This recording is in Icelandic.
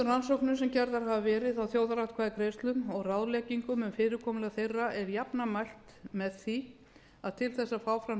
rannsóknum sem gerðar hafa verið á þjóðaratkvæðagreiðslum og ráðleggingum um fyrirkomulag þeirra er jafnan mælt með því að til þess að fá fram